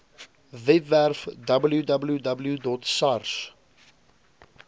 webwerf www sars